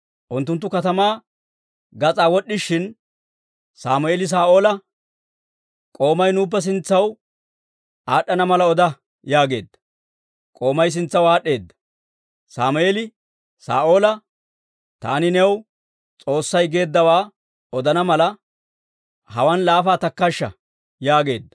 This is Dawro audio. Unttunttu katamaa gas'aa wod'd'ishin, Sammeeli Saa'oola, «K'oomay nuuppe sintsaw aad'd'ana mala oda» yaageedda; k'oomay sintsaw aad'd'eedda. Sammeeli Saa'oola, «Taani new S'oossay geeddawaa odana mala, hawaan laafa takkashsha» yaageedda.